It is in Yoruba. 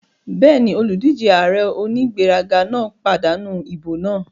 Bẹ́ẹ̀ni, olùdíjé ààrẹ onígbéraga náà pàdánù ìbò náà